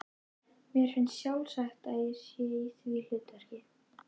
Mér finnst sjálfsagt að ég sé í því hlutverki.